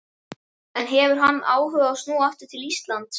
En hefur hann áhuga á að snúa aftur til Íslands?